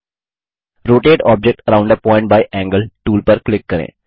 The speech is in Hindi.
rotate object around a point by angle tool पर क्लिक करें